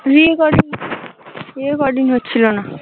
Recording recording হচ্ছিলো না।